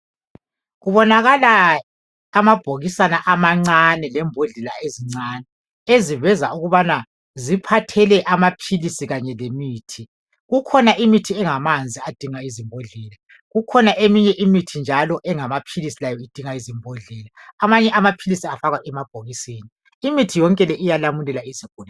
Kubonakala amabhokisana amancane lezimbodlela ezincane esiveza ukubana ziphathele amaphilisi kanye lemithi. Kukhona imithi engamanzi edinga izimbodlela kukhona eminye imithi njalo engamaphilisi layo idinga izimbodlela . Amanye amaphilisi afakwa emabhokisini. Imithi yonke le iyalamulela izigulane.